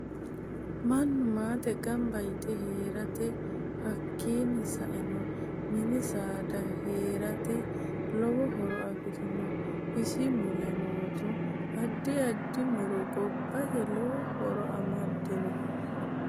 Minu maate ganba yite heerate hakiini saenno mini saada heerate lowo horo afirinno isi mule leeltanno addi addi muro giddose lowo horo amaddanno